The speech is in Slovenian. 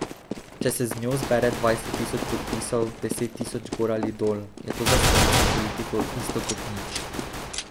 Če se z njo zbere dvajset tisoč podpisov, deset tisoč gor ali dol, je to za slovensko politiko isto kot nič.